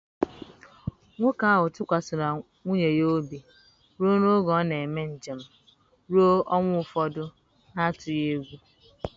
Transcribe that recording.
Nwoke ahụ tụkwasịrị nwunye ya obi ruo n’ókè ọ na-eme njem ruo ọnwa ụfọdụ n’atụghị egwu.